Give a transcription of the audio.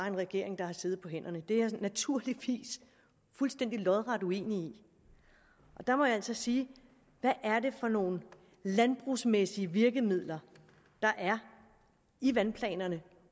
en regering der har siddet på hænderne det er jeg naturligvis fuldstændig lodret uenig i og der må jeg altså sige hvad er det for nogle landbrugsmæssige virkemidler der er i vandplanerne